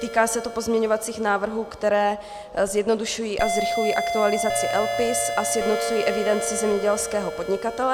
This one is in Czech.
Týká se to pozměňovacích návrhů, které zjednodušují a zrychlují aktualizaci LPIS a sjednocují evidenci zemědělského podnikatele.